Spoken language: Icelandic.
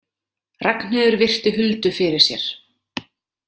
Ragnheiður virti Huldu fyrir sér.